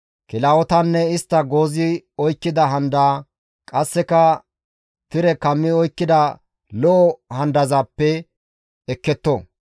kilahotanne istta goozi oykkida handaa, qasseka tire kammi oykkida lo7o handazappe ekketto.